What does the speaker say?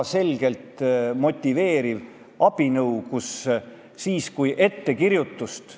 Ma saan aru, et kui me taasiseseisvusime, siis oli olukord, nagu ta oli, aga nüüd peaks kõik need probleemid olema juba ammu unustatud.